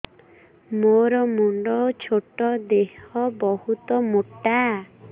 ମୋର ମୁଣ୍ଡ ଛୋଟ ଦେହ ବହୁତ ମୋଟା